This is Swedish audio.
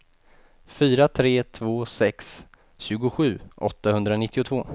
fyra tre två sex tjugosju åttahundranittiotvå